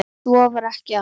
Svo var ekki alltaf.